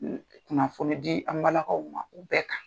kunnafoni di an' balakaw ma, u bɛɛ kan